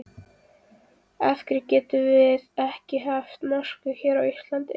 Af hverjum getum við ekki haft mosku hérna á Íslandi?